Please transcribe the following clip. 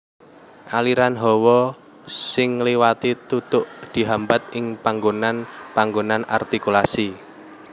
Aliran hawa sing ngliwati tutuk dihambat ing panggonan panggonan artikulasi